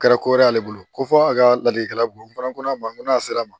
Kɛra ko wɛrɛ y'ale bolo ko fɔ a ka ladilikan bon n'a fɔra ko a ma ko n'a sera